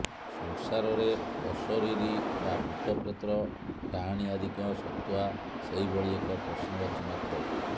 ସଂସାରରେ ଅଶରୀରି ବା ଭୂତ ପ୍ରେତ ଡାହାଣୀ ଆଦିଙ୍କ ସତ୍ତ୍ୱା ସେହିଭଳି ଏକ ପ୍ରଶ୍ନବାଚୀ ମାତ୍ର